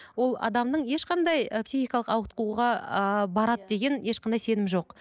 ол адамның ешқандай ы психикалық ауытқуға ыыы барады деген ешқандай сенім жоқ